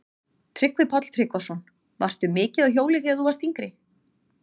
Tryggvi Páll Tryggvason: Varstu mikið á hjóli þegar þú varst yngri?